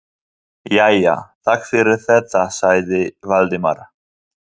Jæja, takk fyrir þetta sagði Valdimar.